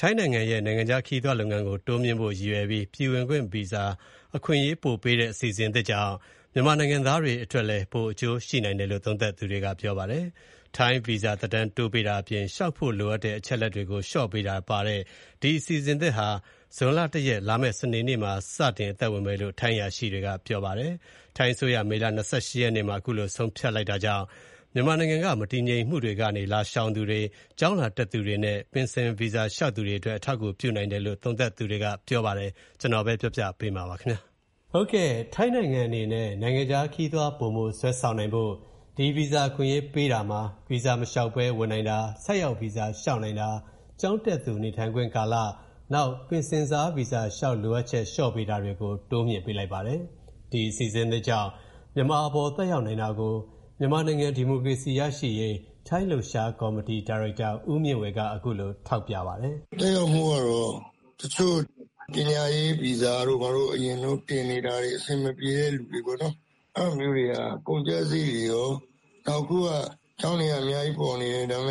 ထိုင်းနိုင်ငံရဲ့ နိုင်ငံခြားခရီးသွားလုပ်ငန်း တိုးမြှင့်ဖို့အတွက် ရည်ရွယ်ပြီး ပြည်ဝင်ခွင့်ဗီဇာ အခွင့်အရေးပိုပေးမဲ့ အစီအစဉ်သစ်ကြောင့် မြန်မာနိုင်ငံသားတွေလည်း ပိုအကျိုးရှိနိုင်တယ်လို့ သုံးသပ်ကြပါတယ်။ ထိုင်း ဗီဇာ သက်တမ်းတိုးပေးတာအပြင် လျှောက်ဖို့လိုအပ်တဲ့ အချက်အလက်တွေကို လျှော့ပေးတာတွေပါဝင်တဲ့ ဒီအစီအစဉ်သစ်ဟာ ဇွန်လ ၁ ရက်၊ စနေနေ့မှာ စစတင် အသက်ဝင်မယ်လို့ ထိုင်းအရာရှိတွေက ပြောပါတယ်။ ထိုင်းအစိုးရ မေလ ၂၈ ရက်နေ့မှာ အခုလိုဆုံးဖြတ်တာကြောင့် မြန်မာနိုင်ငံမှာ ကြုံတွေ့နေရတဲ့ မတည်မငြိမ်မှုတွေကနေ လာရှောင်သူတွေ၊ ကျောင်းလာတက်သူတွေနဲ့ ပင်ဆင် ဗီဇာလျှောက်သူတွေအတွက် အထောက်အကူပြုနိုင်တယ်လို့ သုံးသပ်သူတွေက ပြောပါတယ်။ ဒီအကြောင်း ကိုဝင်းမင်းက စုစည်း တင်ပြပေးထားပါတယ်။ ထိုင်းနိုင်ငံအနေနဲ့ နိုင်ငံခြားခရီးသွား ပိုမိုဆွဲဆောင်နိုင်ဖို့ ဒီ ဗီဇာ အခွင့်အရေးပေးတာမှာ၊ ဗီဇာမလျှောက်ဘဲဝင်နိုင်တာ၊ ဆိုက်ရောက်ဗီဇာလျှောက်နိုင်တာ၊ ကျောင်းတက်သူနေထိုင်ခွင့်ကာလ၊ ပင်ဆင်စားဗီဇာလျှောက်လိုအပ်ချက်လျော့ပေးတာတွေကို တိုးမြှင့်ပေးလိုက်ပါတယ်။ ဒီအစီအစဉ်သစ်ကြောင့် မြန်မာအပေါ် သက်ရောက်နိုင်တာကို မြန်မာနိုင်ငံဒီမိုကရေစီရရှိရေး ထိုင်းလှုပ်ရှားကော်မတီ ဒါရိုက်တာ ဦးမြင့်ဝေက အခုလို Text ထောက်ပြပါတယ်။ "သက်ရောက်မှုကတော့ တချို့ပညာရေးဗီဇာတွေဘာတွေ တင်နေတာတွေ အဆင်မပြေတဲ့သူတွေပေါ့နော်၊ အဲဒါမျိုးတွေက ကုန်ကျစရိတ်တွေကော နောက်အခုက ကျောင်းတွေက အများကြီးပေါ်နေတယ် ဒါပေ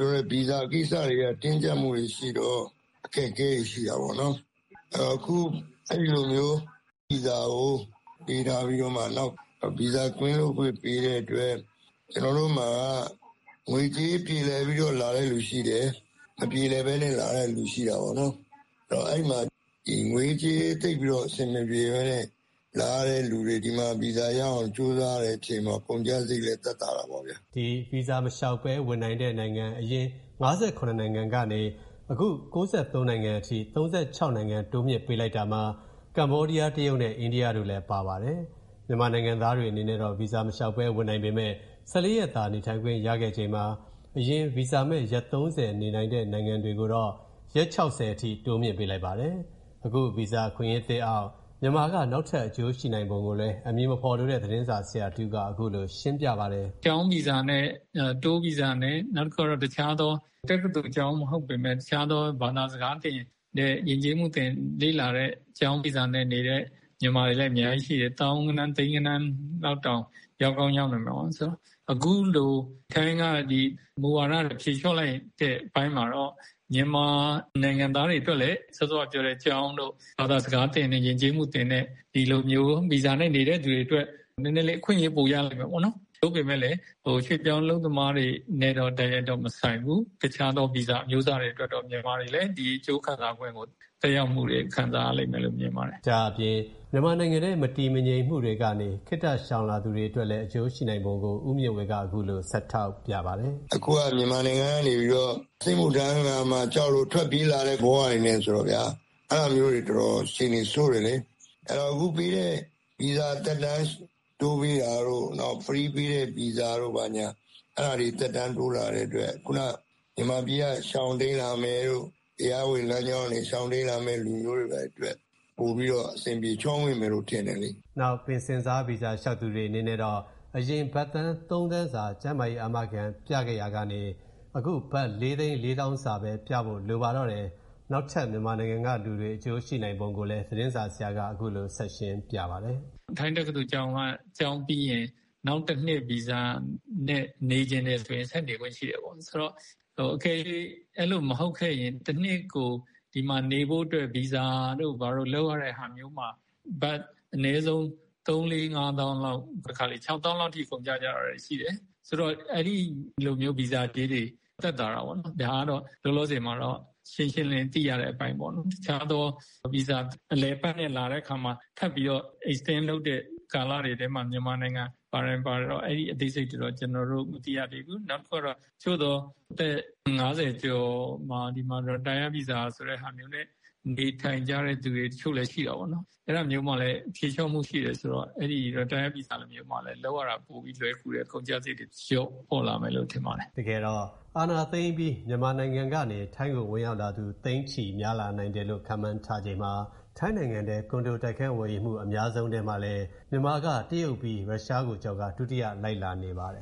မဲ့ ဗီဇာကိစ္စတွေက တင်းကျပ်မှုတွေရှိတော့ အခက်အခဲတွေရှိတာပေါ့နော်။ အခုအဲလိုမျိုး ဗီဇာကိုပေးထားပြီးတော့မှ နောက်ဗီဇာကင်းလွတ်ခွင့်ပေးတဲ့အတွက် ကျွန်တော်တို့မှာ ငွေကြေးပြေလည်ပြီးတော့လာတဲ့သူရှိတယ်။ မပြေလည်ပဲနဲ့လာတဲ့သူရှိတာပေါ့နော်။ သိပ်မပြေလည်တဲ့သူတွေ လာရတဲ့အချိန် ဒီမှာဗီဇာရအောင်ကြိုးစားတဲ့အချိန်တော့ ကုန်ကျစရိတ်သက်သာတာပေါ့ဗျာ " ဗီဇာမလျှောက်ဘဲ ဝင်နိုင်တဲ့ နိုင်ငံ အရင် ၅၇ နိုင်ငံကနေ အခု ၉၃ နိုင်ငံအထိ ၃၆ နိုင်ငံတိုးမြှင့်ပေးလိုက်တာမှာ ကမ္ဘောဒီးယား၊ တရုတ်နဲ့ အိန္ဒိယတို့လည်း ပါပါတယ်။ မြန်မာနိုင်ငံသားတွေအနေနဲ့တော့ ဗီဇာမလျှောက်ဘဲ လာရောက်နေထိုင်ခွင့် ၁၄ ရက်သာ ရှိချိန်မှာ၊ အရင် ဗီဇာမဲ့ ရက် ၃၀ နေထိုင်ခွင့်ရှိတဲ့ နိုင်ငံသားတွေကိုတော့ ရက် ၆၀ အထိ တိုးမြှင့်ပေးလိုက်ပါတယ်။ အခုဗီဇာအခွင့်အရေးသစ်အောက် မြန်မာက နောက်ထပ် အကျိုးရှိနိုင်ပုံကိုလည်း အမည်မဖော်လိုတဲ့ သတင်းဆရာတဦးက အခုလို ရှင်းပြပါတယ်။ "ကျောင်းဗီဇာနဲ့၊ Tourဗီဇာနဲ့ တက္ကသိုလ်ကျောင်းမဟုတ်ပေမဲ့ တခြားသော ဘာသာစကားသင်တဲ့ ယဉ်ကျေးမှုလေ့လာတဲ့သင်တဲ့ ကျောင်းဗီဇာနဲ့နေတဲ့ မြန်မာတွေလည်းအများကြီးရှိတယ် သောင်းဂဏန်း သိန်းဂဏန်း လောက်တောင် ရောက်ကောင်းရောက်နိုင်တယ်။ အခုလိုထိုင်းက မူဝါဒဖြေလျှော့လိုက်တဲ့အပိုင်းမှာတော့ မြန်မာနိုင်ငံသားတွေအတွက်လည်း ကျောင်းတို့ ဘာသာစကားသင်တဲ့ ယဉ်ကျေးမှုသင်တဲ့ဒီလိုမျိုးဗီဇာနဲ့နေတဲ့သူတွေအတွက် နည်းနည်းလေး အခွင့်အရေးပိုရမယ်ပေါ့နော်။ သို့ပေမဲ့လည်း ရွှေ့ပြောင်းအလုပ်သမားတွေနဲ့တော့ တိုက်ရိုက်တော့မဆိုင်ဘူး။ တခြားသောဗီဇာအမျိုးအစားတွေအတွက်တော့ တခြားသောမြန်မာတွေလည်း အကျိုးသက်ရောက်မှုကို ခံစားရလိမ့်မယ်လို့ မြင်ပါတယ်။" ဒါ့အပြင် မြန်မာနိုင်ငံထဲ မတည်မငြိမ်မှုတွေကနေ ခေတ္တရှောင်လာသူတွေအတွက်လည်း အကျိုးရှိနိုင်ပုံကို ဦးမြင့်ဝေက အခုလို ဆက်ထောက်ပြပါတယ်။ "အခုက မြန်မာနိုင်ငံကနေပြီးတော့ စစ်မှုထမ်းရမှာကြောက်လို့ ထွက်ပြေးလာတဲ့ ဘဝတွေနဲ့ဆိုတော့ဗျာ အဲဒါကအတော်အခြေအနေဆိုးတယ်လေ။ အခုပေးတဲ့ ဗီဇာသက်တမ်းတိုးပေးတာတို့ ဖရီးပေးတဲ့ဗီဇာတို့ ဘာညာ အဲဒါတွေသက်တမ်းတိုးလာတဲ့အတွက် မြန်မာပြည်က ရှောင်တိမ်းလာမယ်တို့ တရားဝင်လမ်းကြောင်းကနေရှောင်တိမ်းလာမယ့် သူတွေအတွက် ပိုပြီးတော့ အဆင်ပြေချောမွေ့မယ်လို့ ထင်တယ်လေ" နောက် ပင်ဆင်စားဗီဇာလျှောက်သူတွေအနေနဲ့တော့ အရင် ဘတ်သန်း ၃ သန်းစာ ကျန်းမာရေး အာမခံပြခဲ့ရတာကနေ၊ အခု ဘတ် ၄ သိန်း ၄ သောင်းစာပဲ ပြဖို့ လိုပါတော့တယ်။ နောက်ထပ် မြန်မာနိုင်ငံကလူတွေတွေ အကျိုးရှိနိုင်ပုံကိုလည်း သတင်းဆရာက အခုလို ဆက်ရှင်းပြပါတယ်။ "ထိုင်းတက္ကသိုလ်ကျောင်းက ကျောင်းပြီးရင် နောက်တနှစ် ဗီဇာနဲ့နေချင်တယ်ဆိုရင် ဆက်နေခွင့်ရှိတယ်ပေါ့ အကယ်၍ အဲလိုမဟုတ်ခဲ့ရင် တနှစ်ကို ဒီမှာနေဖို့အတွက် ဗီဇာတို့ဘာတို့လုပ်ရတဲ့ဟာမျိုးမှာ အနည်းဆုံး ဘတ် ၃ ၄ ၅ သောင်းလောက်၊ တခါတလေ ၆ သောင်းလောက်အထိကုန်ကျကြတာတွေရှိတယ်။ အဲဒီလိုမျိုးဗီဇာကြေးတွေသက်သာတာပေါ့နော်။ ဒါကတော့ လောလောဆယ် ရှင်းရှင်းလင်းလင်းသိရတဲ့အပိုင်းပေါ့နော်။ အလည်အပတ်ဗီဇာနဲ့လာတဲ့အခါမှထပ်ပြီးတော့ extend လုပ်တဲ့အထဲမှာမြန်မာနိုင်ငံပါတယ်မပါတယ်တော့ အသေးစိတ်တွေတော့ မသိရသေးဘူး။ နောက်တခုကတော့ အသက် ၅၀ ကျော် ဒီမှာ retired ဗီဇာဆိုတဲ့ဟာမျိုးနဲ့ နေထိုင်ကြတဲ့သူတွေ တချို့လည်းရှိပေါ့နော်။ အဲဒါမျိုးမှာလည်း ဖြေလျှော့မှုရှိတယ်ဆိုတော့ လုပ်ရတာလွယ်ကူတယ်။ ကုန်ကျစရိတ်တွေလျော့လာမယ်လို့ ထင်ပါတယ်" တကယ်တော့ အာဏာသိမ်းအပြီး မြန်မာကနေ ထိုင်းကို ဝင်ရောက်သူ သိန်းချီများလာနိုင်တယ်လို့လည်း ခန့်မှန်းထားချိန်မှာ၊ ထိုင်နိုင်ငံတွင်း ကွန်ဒိုတိုက်ခန်းဝယ်ယူမှု အများဆုံးထဲမှာ ပါဝင်နေပြီး မြန်မာက တရုတ်ပြီးရင် ရုရှားကိုကျော်ပြီး ဒုတိယလိုက်လာနေပါတယ်